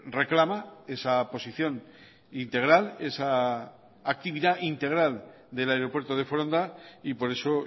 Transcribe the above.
reclama esa posición integral esa actividad integral del aeropuerto de foronda y por eso